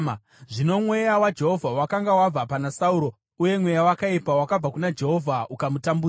Zvino Mweya waJehovha wakanga wabva pana Sauro, uye mweya wakaipa wakabva kuna Jehovha ukamutambudza.